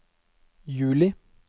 juli